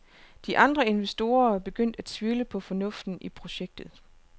De andre investorer var begyndt at tvivle på fornuften i projektet.